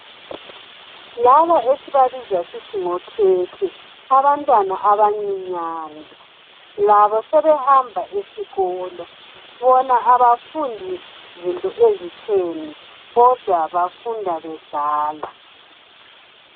Laba esibabiza sithi ngokhekhe abantwana abancinyane labo sebehamba esikolo bona abafundi zinto ezitheni kodwa bafunda bedlala.